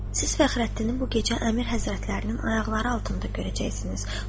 Siz fəxrəddini bu gecə əmir həzrətlərinin ayaqları altında görəcəksiniz.